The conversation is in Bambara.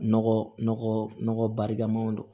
Nɔgɔ nɔgɔ barikamaw don